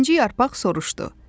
İkinci yarpaq soruşdu.